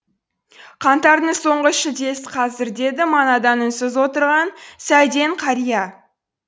қаңтардың соңғы шілдесі қазір деді манадан үнсіз отырған сәден қария